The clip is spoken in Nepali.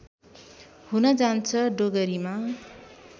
हुन जान्छ डोगरीमा